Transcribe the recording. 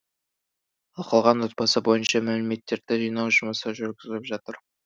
ал қалған отбасы бойынша мәліметтерді жинау жұмысы жүргізіліп жатыр